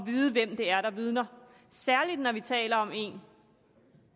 vide hvem det er der vidner særlig når vi taler om en